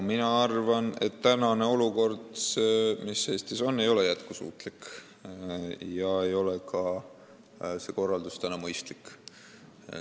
Mina arvan, et olukord, mis Eestis on, ei ole jätkusuutlik ja ka see korraldus ei ole mõistlik.